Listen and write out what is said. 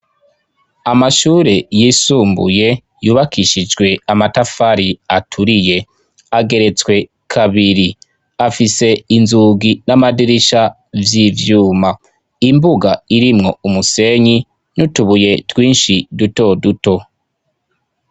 Amashure yisumbuye yubakishijwe amatafari aturiye ageretswe kabiri afise inzugi n'amadirisha vy'ivyuma imbuga irimwo umusenyi nutubuye twinshi duto duto.